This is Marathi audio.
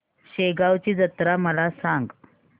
शेगांवची जत्रा मला सांग